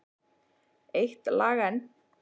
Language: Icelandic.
Eitt lag enn.